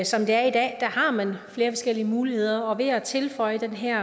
som det er i dag har man flere forskellige muligheder og ved at tilføje den her